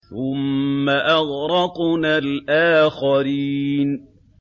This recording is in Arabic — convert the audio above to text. ثُمَّ أَغْرَقْنَا الْآخَرِينَ